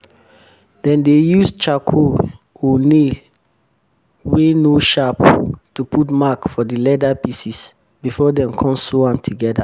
dem dey use charcoal or nail wey no sharp to put mark for di leather pieces before dem con sew am together